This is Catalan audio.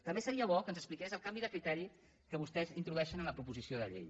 també seria bo que ens expliqués el canvi de criteri que vostès introdueixen en la proposició de llei